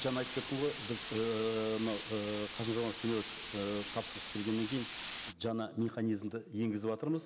жаңа айтып кеттім ғой біз ыыы мынау ы қасым жомарт кемелевич ы тапсырыс бергеннен кейін жаңа механизмді енгізіватырмыз